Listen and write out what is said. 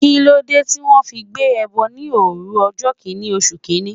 Kíló dé tí wón fi gbé ẹbọ ní òru ọjọ́ Kínní oṣù?